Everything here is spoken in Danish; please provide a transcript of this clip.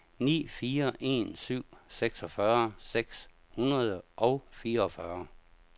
ni fire en syv seksogfyrre seks hundrede og fireogfyrre